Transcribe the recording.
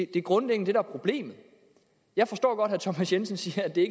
det er grundlæggende det der er problemet jeg forstår godt at herre thomas jensen siger at det